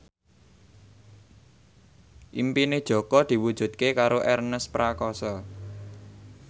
impine Jaka diwujudke karo Ernest Prakasa